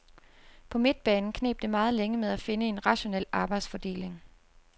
På midtbanen kneb det meget længe med at finde en rationel arbejdsfordeling.